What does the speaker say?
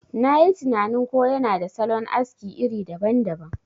Nayi tinanin ko yana da salon aski iri daban daban.